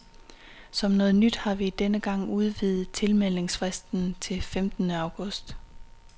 Som noget nyt har vi denne gang udvidet tilmeldingsfristen til femtende august.